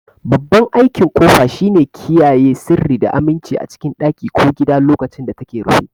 Babban aikin kofa shine kiyaye sirri da aminci a cikin ɗaki ko gida lokacin da take rufe.